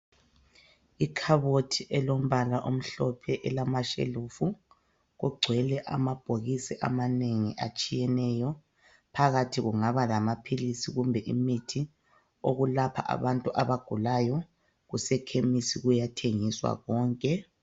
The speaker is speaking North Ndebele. Ikhabothi elombala omhlophe elamashelufu kugcwele amabhokisi amanengi atshiyeneyo phakathi kungaba lamaphilisi kumbe imithi okulapha abantu abagulayo kusekhemisi kuyathengiswa konke.